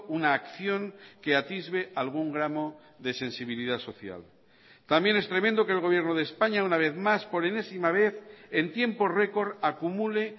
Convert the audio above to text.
una acción que atisbe algún gramo de sensibilidad social también es tremendo que el gobierno de españa una vez más por enésima vez en tiempo récord acumule